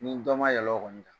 Nin dɔ ma yɛlɛ o kɔni kan.